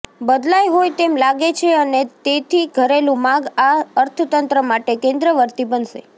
બદલાઈ હોય તેમ લાગે છે અને તેથી ઘરેલુ માગ આ અર્થતંત્ર માટે કેન્દ્રવર્તી બનશે